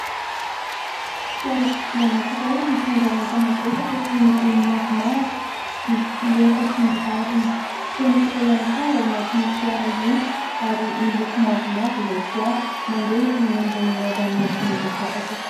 Fiarakodia anankiray mitondra enta-mavesatra toy ny gony maromaro, bisikileta sy ny tariny. Feno olona ihany koa ao anatin'io fiara io, ary miloko mavomavo ilay fiara mandeha eny ambonina rano madio mangatsakatsaka.